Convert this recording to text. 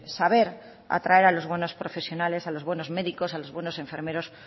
saber atraer a los buenos profesionales a los buenos médicos a los buenos enfermeros